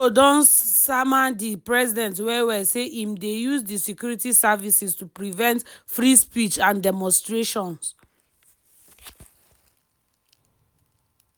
pipo don sama di president well well say im dey use di security services to prevent free speech and demonstrations.